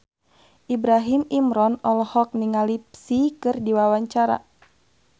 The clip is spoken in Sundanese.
Ibrahim Imran olohok ningali Psy keur diwawancara